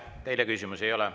Teile küsimusi ei ole.